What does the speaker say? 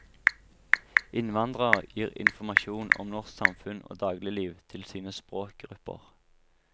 Innvandrere gir informasjon om norsk samfunn og dagligliv til sine språkgrupper.